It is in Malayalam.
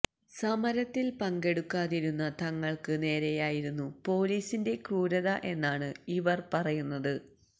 സമരത്തില് പങ്കെടുക്കാതിരുന്ന തങ്ങള്ക്ക നേരെയായിരുന്നു പൊലീസിന്റെ ക്രൂരത എന്നാണ് ഇവര് പറയുന്നത്